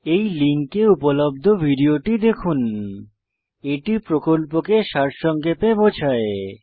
এই লিঙ্কে উপলব্ধ ভিডিওটি দেখুন httpspoken tutorialorg What a Spoken Tutorial এটি প্রকল্পকে সারসংক্ষেপে বোঝায়